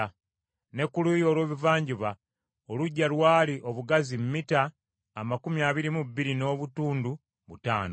Ne ku luuyi olw’ebuvanjuba oluggya lwali obugazi mita amakumi abiri mu bbiri n’obutundu butaano.